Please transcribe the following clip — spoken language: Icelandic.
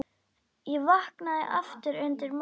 Ég vaknaði aftur undir morgun.